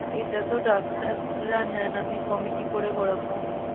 এটা তো ডাক্তার রা নেন আমি কমে কি করে করবো ?